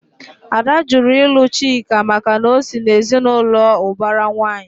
Ada jụrụ ilu Chike maka na ọ sị na ezinaụlọ ubara nwanyi